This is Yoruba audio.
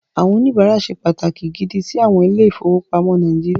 Àwọn oníbàárà ṣe pàtàkì gidi sí àwọn ilé-ìfowópamọ́ Nàíjíríà.